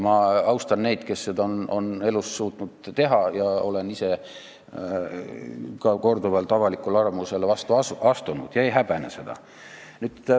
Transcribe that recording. Ma austan neid, kes seda on elus suutnud teha, ja olen ise ka korduvalt avalikule arvamusele vastu astunud ega häbene seda.